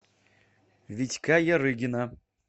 витька ярыгина